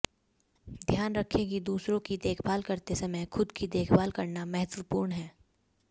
ध्यान रखें कि दूसरों की देखभाल करते समय खुद की देखभाल करना महत्वपूर्ण है